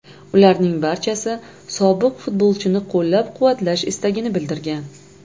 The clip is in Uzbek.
Ularning barchasi sobiq futbolchini qo‘llab-quvvatlash istagini bildirgan.